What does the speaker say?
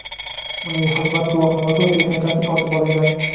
uning xizmat guvohnomasi va texnikasi tortib olingan.